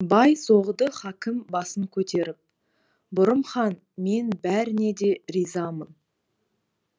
бай соғды хакім басын көтеріп бұрым хан мен бәріңе де ризамын